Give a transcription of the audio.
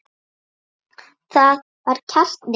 Það var kjarni máls.